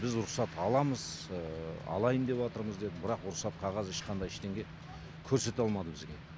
біз рұқсат аламыз алайын деватырмыз деді бірақ рұқсат қағаз ешқандай ештеңе көрсете алмады бізге